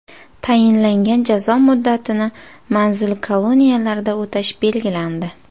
Tayinlangan jazo muddatini manzil-koloniyalarda o‘tash belgilandi.